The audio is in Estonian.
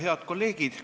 Head kolleegid!